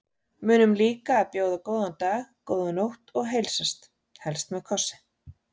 Munum líka að bjóða góðan dag, góða nótt og heilsast, helst með kossi.